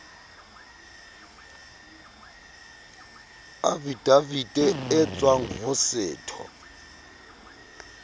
afidavite e tswang ho setho